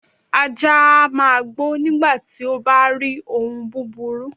Ajá a máa gbó nígbàti ó bárí ohun búburú